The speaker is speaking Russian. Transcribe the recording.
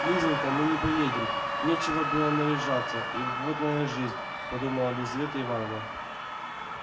лизанька мы не поедем нечего было наряжаться и вот моя жизнь подумала лизавета ивановна